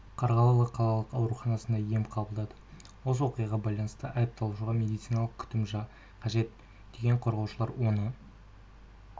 қарғалы қалалық ауруханасында ем қабылдады осы оқиғаға байланысты айыпталушыға медициналық күтім қажет деген қорғаушылар оны